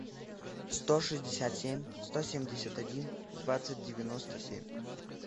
сто шестьдесят семь сто семьдесят один двадцать девяносто семь